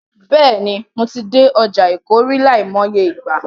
Bẹ́ẹ̀ni, mo ti dé ọjà Èkó rí, láìmọye ìgbà.